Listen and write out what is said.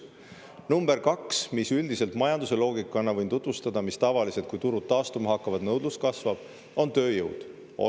Teine on tööjõud – majanduse loogika järgi, mille järele tavaliselt nõudlus kasvab, kui turud taastuma hakkavad.